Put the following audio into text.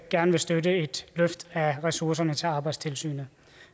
gerne vil støtte et løft af ressourcerne til arbejdstilsynet